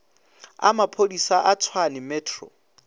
a maphodisa a tshwane metro